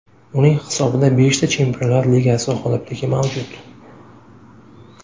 Uning hisobida beshta Chempionlar Ligasi g‘olibligi mavjud.